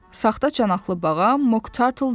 Saxta çanaqlı bağa Mok Tartıl dedi.